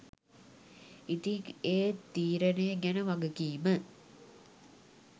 ඉතිං ඒ තීරණේ ගැන වගකීම